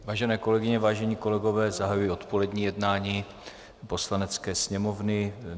Vážené kolegyně, vážení kolegové, zahajuji odpolední jednání Poslanecké sněmovny.